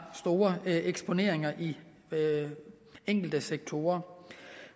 store eksponeringer i enkelte sektorer